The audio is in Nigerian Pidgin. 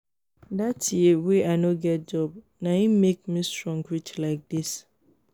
that year wey i no get job na him make me strong reach like this